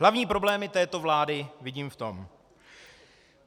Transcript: Hlavní problémy této vlády vidím v tom: